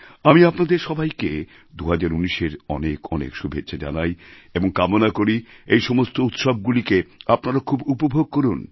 আমি আপনারদের সবাইকে ২০১৯এর অনেক অনেক শুভেচ্ছা জানাই এবং কামনা করি এই সমস্ত উৎসবগুলিকে আপনারা খুব উপভোগ করুন